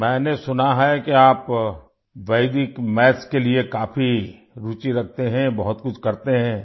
میں نے سنا ہے کہ آپ ویدک میتھ کے لیے کافی دلچسپی رکھتے ہیں، بہت کچھ کرتے ہیں